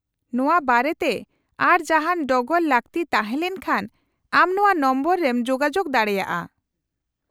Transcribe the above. -ᱱᱚᱶᱟ ᱵᱟᱨᱮᱛᱮ ᱟᱨ ᱡᱟᱦᱟᱱ ᱰᱚᱜᱚᱨ ᱞᱟᱹᱠᱛᱤ ᱛᱟᱦᱮᱸ ᱞᱮᱱᱠᱷᱟᱱ ᱟᱢ ᱱᱚᱶᱟ ᱱᱚᱢᱵᱚᱨ ᱨᱮᱢ ᱡᱳᱜᱟᱡᱳᱜ ᱫᱟᱲᱮᱭᱟᱜᱼᱟ ᱾